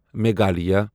Meghalaya